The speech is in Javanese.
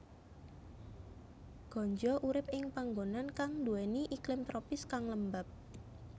Ganja urip ing panggonan kang nduwèni iklim tropis kang lembab